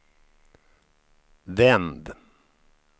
vänd